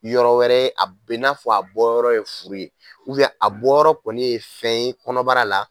Yɔrɔ wɛrɛ ye, a be n'a fɔ a bɔ yɔrɔ ye furu ye a bɔ yɔrɔ kɔni ye fɛn ye kɔnɔbara la